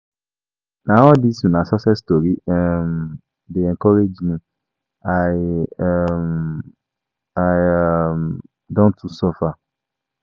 Na all dis una success stories um dey encourage me, I um I um don too suffer.